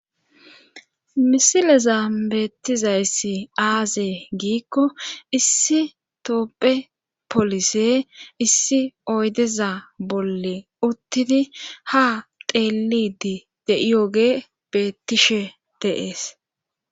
misileza beettizayssi aazee giikko issi toopphe polise issi oydeza bolle uttidi ha teelidi de7iyoge beettishe dee'es